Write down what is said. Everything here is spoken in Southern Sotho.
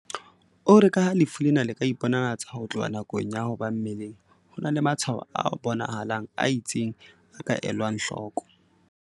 O re ka ha lefu lena le ka iponahatsa ho tloha nakong ya ho ba mmeleng, ho na le matshwaho a bona halang a itseng a ka elwang hloko."